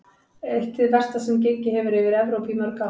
Eitt hið versta sem gengið hefur yfir Evrópu í mörg ár.